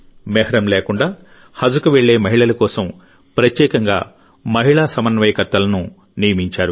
మెహ్రం లేకుండా హజ్కు వెళ్లే మహిళల కోసం ప్రత్యేకంగా మహిళా సమన్వయకర్తలను నియమించారు